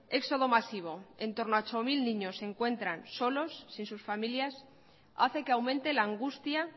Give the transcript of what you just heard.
éxodo masivo en torno a ocho mil niños se encuentran solos sin sus familias hace que aumente la angustia